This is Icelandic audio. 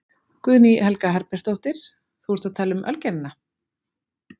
Guðný Helga Herbertsdóttir: Þú ert að tala um Ölgerðina?